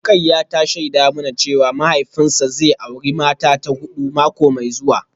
Rukayyah ta shaida mana cewa mahaifinsa zai auri mata ta hudu mako mai zuwa